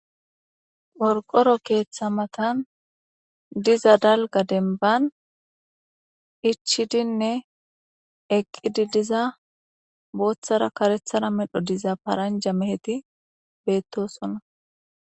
Qorqoro keeththa matan diza dalgga dembban ichchidine eqqidi diza boththara kareththara medho diza paranja meheti beetosona.